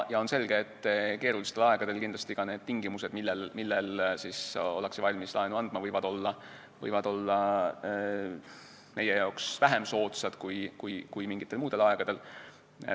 On selge, et keerulistel aegadel kindlasti ka need tingimused, mis puhul ollakse valmis laenu andma, võivad olla meie jaoks vähem soodsad kui mingitel muudel aegadel.